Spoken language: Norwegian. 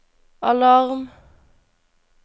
alarm